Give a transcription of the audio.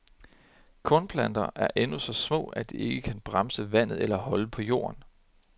Kornplanterne er endnu så små, at de ikke kan bremse vandet eller holde på jorden.